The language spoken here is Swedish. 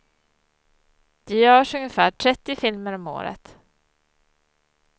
Det görs ungefär trettio filmer om året.